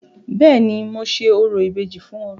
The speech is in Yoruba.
Béèni, mo ṣe orò ìbejì fún wọn.